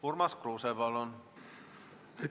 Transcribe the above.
Urmas Kruuse, palun!